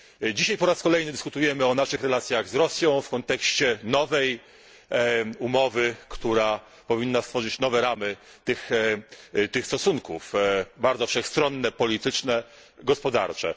Dzisiaj po raz kolejny dyskutujemy o naszych relacjach z Rosją w kontekście nowej umowy, która powinna stworzyć nowe ramy tych stosunków, bardzo wszechstronne ramy polityczne i gospodarcze.